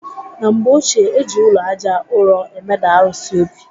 Na mgbe ochie, eji ụlọ Àjà ụrọ emeda arụsị obi